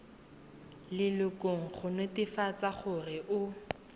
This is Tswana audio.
lelokong go netefatsa gore o